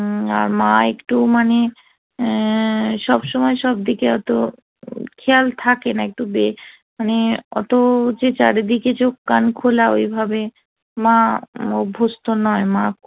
মা একটু মানে সব সময় সব দিকে এত খেয়াল থাকে না একটু বেশ মানে অত যে চারিদিকে চোখ কান খোলা ঐভাবে মা অভ্যস্ত নয় মা